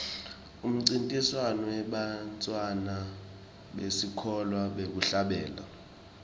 umncintiswano webantfwana besikolwa wekuhlabela